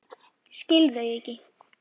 Skil þau ekki.